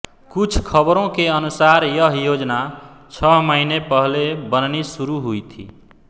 कुछ खबरों के अनुसार यह योजना छह महीने पहले बननी शुरू हुई थी